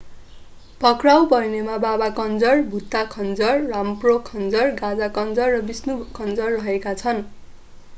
पक्राउ पर्नेमा baba kanjar bhutha kanjar rampro kanjar gaza kanjar र vishnu kanjar रहेका छन्